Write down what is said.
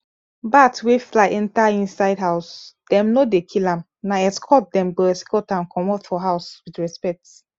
bat wey fly enter inside house them no dey kill am na escort them go escort am comot for house with respect